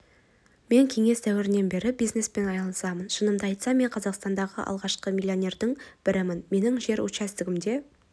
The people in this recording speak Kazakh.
мен кеңес дәуірінен бері бизнеспен айналысамын шынымды айтсам мен қазақстандағы алғашқы миллионердің бірімін менің жер учаскемде